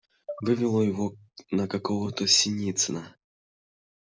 вывело его на какого-то синицына